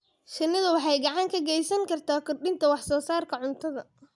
Shinnidu waxay gacan ka geysan kartaa kordhinta wax soo saarka cuntada.